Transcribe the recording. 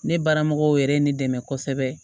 Ne baara mɔgɔw yɛrɛ ne dɛmɛ kosɛbɛ